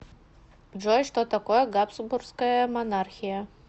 джой что такое габсбургская монархия